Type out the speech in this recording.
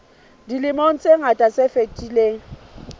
dilemong tse ngata tse fetileng